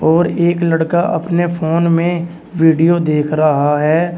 और एक लड़का अपने फोन में वीडियो देख रहा है।